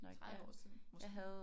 30 år siden måske